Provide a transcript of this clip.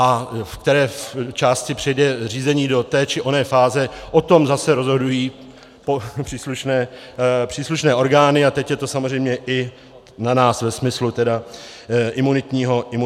A v které části přejde řízení do té či oné fáze, o tom zase rozhodují příslušné orgány, a teď je to samozřejmě i na nás ve smyslu tedy imunitního režimu.